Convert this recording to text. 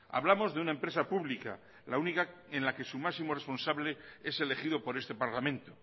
hablamos de una empresa pública la única en la que su máximo responsable es elegido por este parlamento